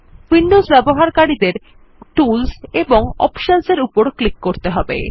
Windows ব্যবহারকারীদের tools এবং options এর উপর ক্লিক করা উচিত